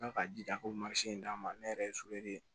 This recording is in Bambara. Ala ka jija k'o in d'a ma ne yɛrɛ ye ye